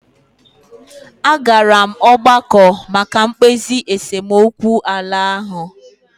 A gara m ọgbakọ maka mkpezi esemokwu ala ahụ.